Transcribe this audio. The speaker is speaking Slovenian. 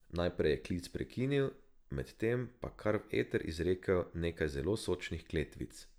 Najprej je klic prekinil, med tem pa kar v eter izrekel nekaj zelo sočnih kletvic.